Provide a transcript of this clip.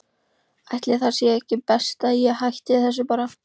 Ætli það sé ekki best að ég hætti þessu bara.